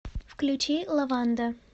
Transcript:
включи лаванда